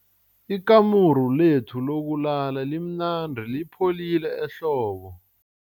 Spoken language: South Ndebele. Ikamuru lethu lokulala limnandi lipholile ehlobo.